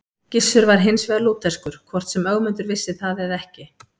Gissur var hins vegar lútherskur, hvort sem Ögmundur vissi það eða ekki.